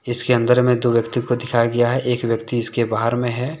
इसके अंदर में दो व्यक्ति को दिखाया गया है एक व्यक्ति इसके बाहर में है।